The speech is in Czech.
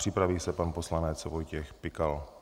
Připraví se pan poslanec Vojtěch Pikal.